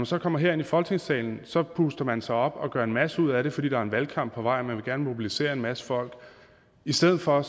så kommer herind i folketingssalen så puster man sig op og gør en masse ud af det fordi der er en valgkamp på vej og man gerne vil mobilisere en masse folk i stedet for